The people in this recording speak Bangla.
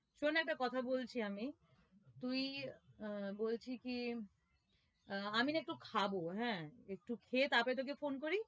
শোন একটা কথা বলছি আমি তুই আহ বলছি কি আহ আমি না একটু খাবো হ্যাঁ একটু খেয়ে তারপর তোকে phone করি?